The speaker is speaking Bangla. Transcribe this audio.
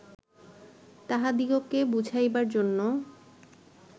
তাঁহাদিগকে বুঝাইবার জন্য